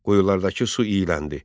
Quyulardakı su iyləndi.